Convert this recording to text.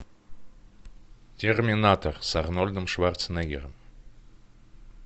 терминатор с арнольдом шварценеггером